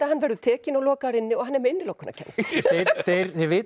hann verður tekinn og lokaður inni og hann er með innilokunarkennd þeir vita